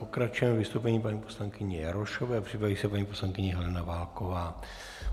Pokračujeme vystoupením paní poslankyně Jarošové, připraví se paní poslankyně Helena Válková.